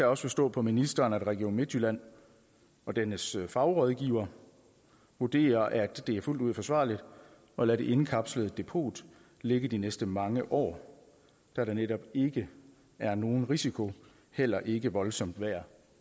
også forstå på ministeren at region midtjylland og dennes fagrådgiver vurderer at det er fuldt ud forsvarligt at lade det indkapslede depot ligge de næste mange år da der netop ikke er nogen risiko heller ikke voldsomt vejr